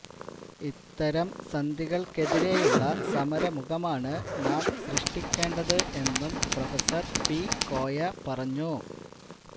ഇത്തരം സന്ധികൾ ക്കെതിരെയുള്ള സമര മുഖമാണ് നാം സൃഷ്ടിക്കേണ്ടത് എന്നും പ്രൊഫസർ പി കോയ പറഞ്ഞു